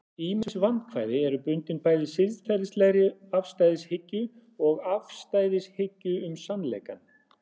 ýmis vandkvæði eru bundin bæði siðferðilegri afstæðishyggju og afstæðishyggju um sannleikann